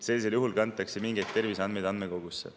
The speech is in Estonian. Sellisel juhul kantakse mingeid terviseandmeid andmekogusse.